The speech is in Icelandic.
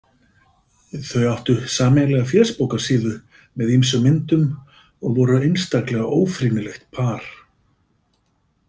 Þau áttu sameiginlega fésbókarsíðu með ýmsum myndum og voru einstaklega ófrýnilegt par.